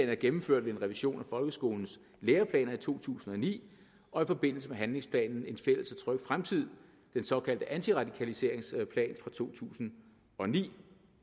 er gennemført ved en revision af folkeskolens læreplaner i to tusind og ni og i forbindelse med handlingsplanen en fælles og tryg fremtid den såkaldte antiradikaliseringsplan fra to tusind og ni